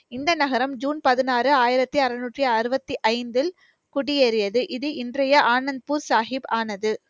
இந்த நகரம் ஜூன் பதினாறு, ஆயிரத்தி அறுநூற்றி அறுபத்தி ஐந்தில் குடியேறியது. இது இன்றைய ஆனந்த்பூர் சாஹிப் ஆனது.